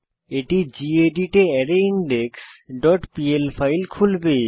এটি গেদিত এ rindex dot PL file খুলবে